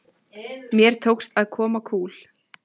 Mér tókst að koma kúl